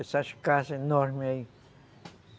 Essas casas enormes aí.